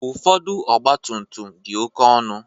Ụfọdụ ọgba tum tum dị oké ọnụ.